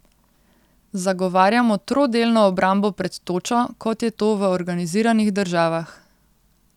Zagovarjamo trodelno obrambo pred točo, kot je to v organiziranih državah.